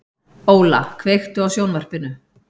Óla, kveiktu á sjónvarpinu.